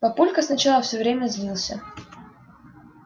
папулька сначала все время злился